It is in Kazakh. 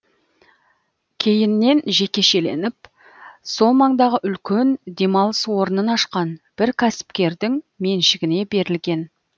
кейіннен жекешеленіп сол маңдағы үлкен демалыс орнын ашқан бір кәсіпкердің меншігіне берілген